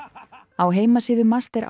á heimasíðu MAST er